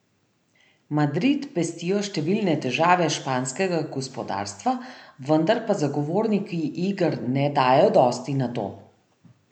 Madrid pestijo številne težave španskega gospodarstva, vendar pa zagovorniki iger ne dajejo dosti na to.